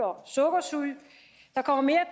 og sukkersyge der kommer mere